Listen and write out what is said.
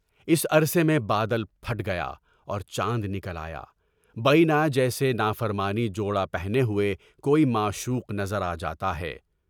اس عرصے میں بادل پھٹ گیا اور جان نکل آیا، بعینہ جیسے نافرمانی کا جوڑا پہنے ہوئے کوئی معشوق نظر آ جاتا ہے۔